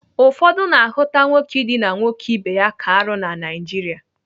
Ụfọdụ na-ahụta nwoke idina nwoke ibe ya ka arụ na Naijiria